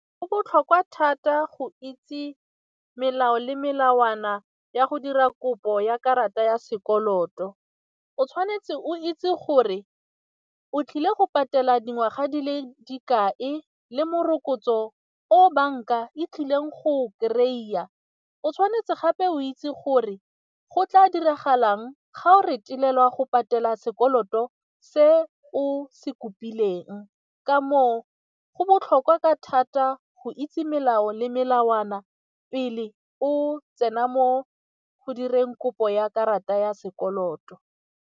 Go botlhokwa thata go itse melao le melawana ya go dira kopo ya karata ya sekoloto, o tshwanetse o itse gore o tlile go patela dingwaga di le dikae le morokotso o o banka e tlileng go kry-a, o tshwanetse gape o itse gore go tla diragalang ga o retelelwa go patela sekoloto se o se kopileng, ka moo go botlhokwa ka thata go itse melao le melawana pele o tsena mo go direng kopo ya karata ya sekoloto.